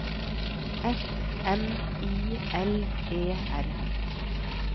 S M I L E R